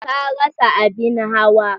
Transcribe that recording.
Ta rasa abin hawa.